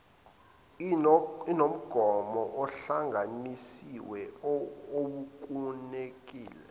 inomgomo ohlanganisiwe owukunikeza